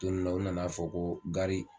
Tununna u nana fɔ ko gari